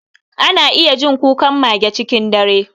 Ana iya jin kukan mage cikin dare.